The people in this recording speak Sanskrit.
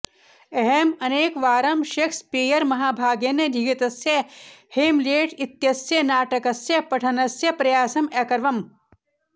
अहम् अनेकवारं शेक्सपीयरमहाभागेन लिखितस्य हेमलेट् इत्यस्य नाटकस्य पठनस्य प्रयासम् अकरवम्